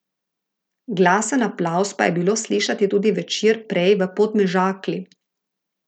Glasen aplavz pa je bilo slišati tudi večer prej v Podmežakli.